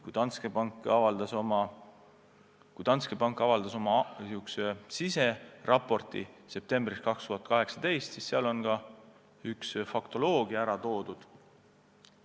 Kui Danske pank avaldas oma siseraporti septembris 2018, siis seal oli ka teatud faktoloogia kirjas.